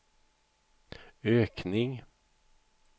ökning